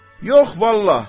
Yox vallah!